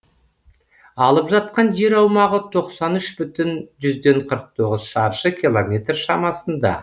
алып жатқан жер аумағы тоқсан үш бүтін жүзден қырық тоғыз шаршы километр шамасында